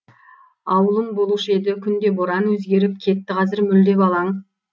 ауылым болушы еді күнде боран өзгеріп кетті қазір мүлде балаң